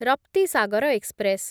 Raptisagar express